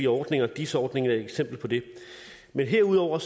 ordninger dis ordningen er et eksempel på det herudover